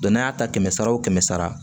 n'a y'a ta kɛmɛ kɛmɛ sara wo kɛmɛ sara